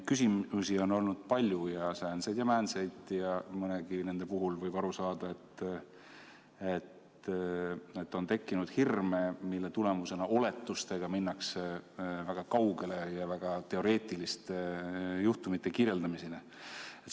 Küsimusi on olnud palju, säänseid ja määnseid, ning neist mõnegi puhul võib aru saada, et on tekkinud hirme, mistõttu oletustega minnakse väga kaugele ja jõutakse väga teoreetiliste juhtumite kirjeldamiseni.